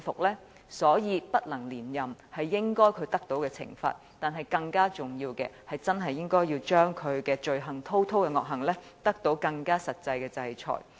因此，不能連任是他應得的懲罰，但更重要的是要令他滔滔的惡行得到更實際的制裁。